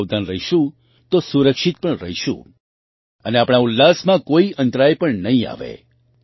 આપણે સાવધાન રહીશું તો સુરક્ષિત પણ રહીશું અને આપણા ઉલ્લાસમાં કોઈ અંતરાય પણ નહીં આવે